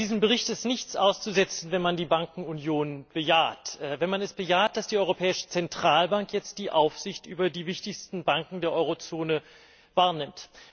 An diesem Bericht ist nichts auszusetzen, wenn man die Bankenunion bejaht, wenn man es bejaht, dass die Europäische Zentralbank jetzt die Aufsicht über die wichtigsten Banken der Eurozone wahrnimmt.